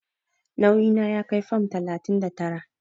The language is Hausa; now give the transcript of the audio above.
Nauyi na ya kai fam talatin da tara.